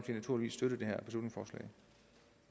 naturligvis støtte